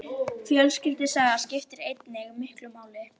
Fjölskyldusaga skiptir einnig miklu máli.